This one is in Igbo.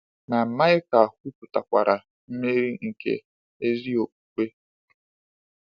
Ma Maịka kwupụtakwara mmeri nke ezi okpukpe.